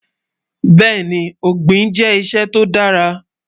Bẹ́ẹni, Ogbin jẹ́ iṣẹ́ tó dàrà.